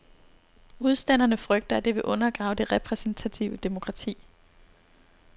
Modstanderne frygter, at det vil undergrave det repræsentative demokrati.